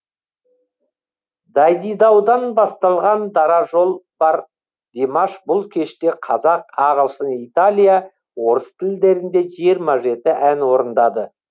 дайдидаудан басталған дара жол бар димаш бұл кеште қазақ ағылшын италия орыс тілдерінде жиырма жеті ән орындады